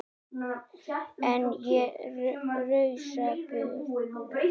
En ég rausa bara.